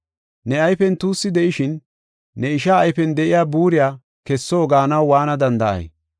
Ne ayfen tuussi de7ishin ne ishaa ayfen de7iya buuriya kesso gaanaw waana danda7ay?